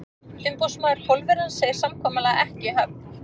Umboðsmaður Pólverjans segir samkomulag ekki í höfn.